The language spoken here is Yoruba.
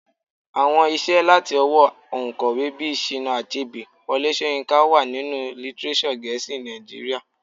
Àwọn iṣẹ́ láti ọwọ́ oǹkọ̀wé bíi Chinua Achebe, Wole Soyinka wà nínú lítírésọ̀ gẹ̀ẹ́sì Nàìjíríà.